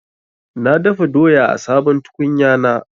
Na dafa doya a sabon tukunyana.